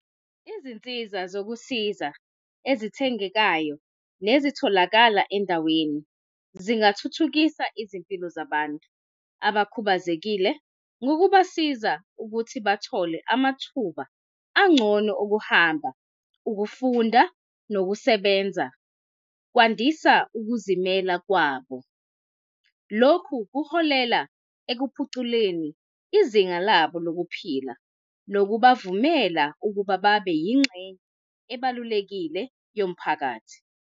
Izinsiza zokusiza ezithengekayo nezitholakala endaweni zingathuthukisa izimpilo zabantu abakhubazekile ngokubasiza ukuthi bathole amathuba angcono okuhamba, ukufunda nokusebenza kwandisa ukuzimela kwabo. Lokhu kuholela ekuphuculeni izinga labo lokuphila, nokubavumela ukuba babe yingxenye ebalulekile yomphakathi.